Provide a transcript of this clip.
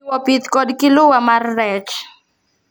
Jiwo pith kod kiluwa mar rech.